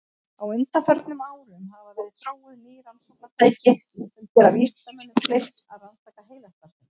Á undanförnum árum hafa verið þróuð ný rannsóknartæki sem gera vísindamönnum kleift að rannsaka heilastarfsemi.